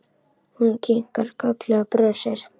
Hún kinkar kolli og brosir.